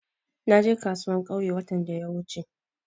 Na je kasuwar ƙauye watan da wuce.